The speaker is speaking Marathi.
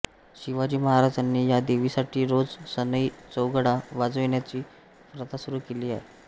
शिवाजी महाराजांनी या देवीसाठी रोज सनई चौघडा वाजविण्याची प्रथा सुरू केली होती